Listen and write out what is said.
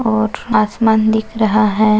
और आसमान दिख रहा है।